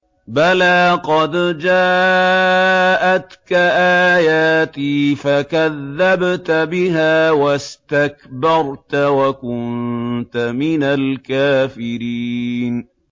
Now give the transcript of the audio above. بَلَىٰ قَدْ جَاءَتْكَ آيَاتِي فَكَذَّبْتَ بِهَا وَاسْتَكْبَرْتَ وَكُنتَ مِنَ الْكَافِرِينَ